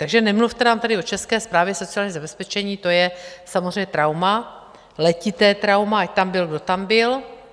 Takže nemluvte nám tady o České správě sociálního zabezpečení, to je samozřejmě trauma, letité trauma, ať tam byl kdo tam byl.